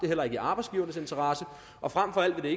heller ikke i arbejdsgivernes interesse og frem for alt vil